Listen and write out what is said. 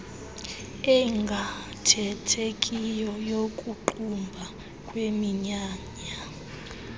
engaathethekiyo yokuqumba kweminyanya